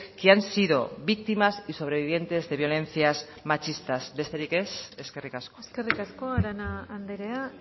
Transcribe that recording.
que han sido víctimas y sobrevivientes de violencias machistas besterik ez eskerrik asko eskerrik asko arana andrea